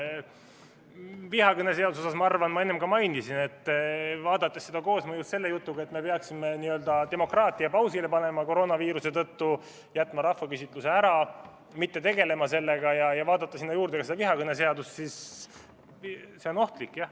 Vihakõneseaduse kohta ma enne ka mainisin, et vaadates seda koosmõjus selle jutuga, et me peaksime demokraatia koroonaviiruse tõttu n‑ö pausile panema, jätma rahvaküsitluse ära, sellega mitte tegelema, siis see on ohtlik, jah.